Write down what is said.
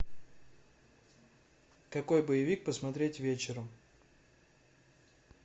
какой боевик посмотреть вечером